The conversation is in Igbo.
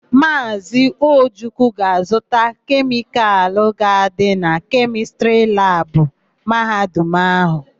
Maazị Ojukwu ga-azụta kemịkalụ ga-adị na kemịstrị labụ Mahadum áhụ̀.